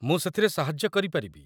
ମୁଁ ସେଥିରେ ସାହାଯ୍ୟ କରିପାରିବି।